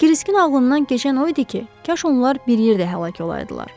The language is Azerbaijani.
Kriskin ağlından keçən o idi ki, kaş onlar bir yerdə həlak olaydılar.